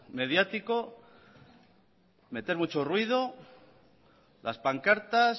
mediático meter mucho ruido las pancartas